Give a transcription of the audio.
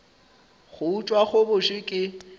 go utswa go bose ke